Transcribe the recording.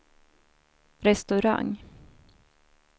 restaurang